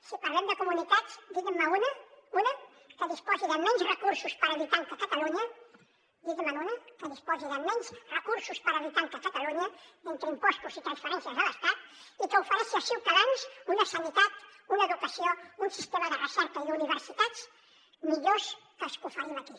si parlem de comunitats digui me’n una una que disposi de menys recursos per habitant que catalunya digui me’n una que disposi de menys recursos per habitant que catalunya entre impostos i transferències de l’estat i que ofereixi als ciutadans una sanitat una educació un sistema de recerca i d’universitats millors que els que oferim aquí